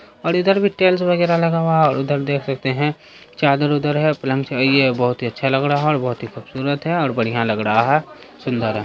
और इधर भी टेल्स वगैरा लगा हुआ है और उधर देख सकते है चादर-उदर है प्लेन से है ये बोहोत ही अच्छा लग रहा है और बहुत ही खुबसूरत है और बढ़िया लग रहा है सुन्दर है।